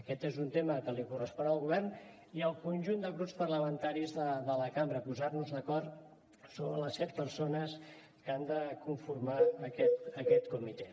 aquest és un tema que correspon al govern i al conjunt de grups parlamentaris de la cambra posar nos d’acord sobre les set persones que han de conformar aquest comitè